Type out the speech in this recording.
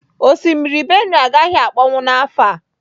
Osimiri Benue agaghị akpọnwụ n'afọ a.